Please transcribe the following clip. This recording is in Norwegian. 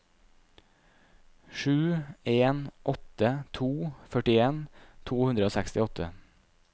sju en åtte to førtien to hundre og sekstiåtte